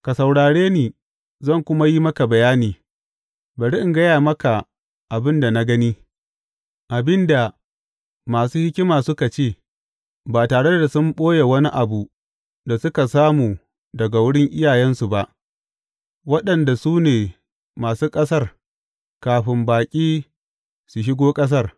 Ka saurare ni, zan kuma yi maka bayani; bari in gaya maka abin da na gani, abin da masu hikima suka ce, ba tare da sun ɓoye wani abu da suka samu daga wurin iyayensu ba waɗanda su ne masu ƙasar kafin baƙi su shigo ƙasar.